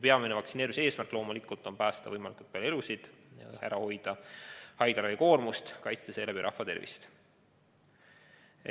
Peamine vaktsineerimise eesmärk on loomulikult päästa võimalikult palju elusid, hoida ära haiglate liigset koormust ja seeläbi kaitsta rahva tervist.